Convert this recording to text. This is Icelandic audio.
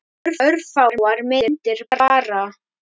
Örfáar myndir bara.